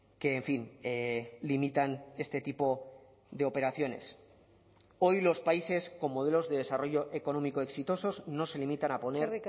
que en fin limitan este tipo de operaciones hoy los países con modelos de desarrollo económico exitosos no se limitan a poner